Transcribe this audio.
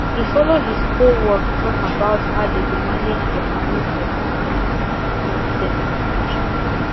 he follow his co worked talk about how they go manage their money for this tax system situation